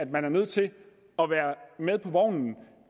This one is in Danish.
valuta og